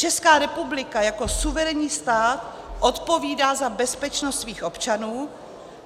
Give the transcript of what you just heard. Česká republika jako suverénní stát odpovídá za bezpečnost svých občanů.